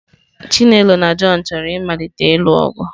Chinelo na John chọrọ ịmalite ịlụ ọgụ.